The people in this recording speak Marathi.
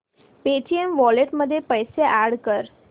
पेटीएम वॉलेट मध्ये पैसे अॅड कर